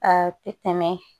Aa ti tɛmɛ